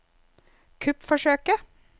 kuppforsøket